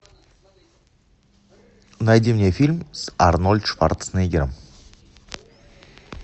найди мне фильм с арнольд шварценеггером